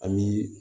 An bi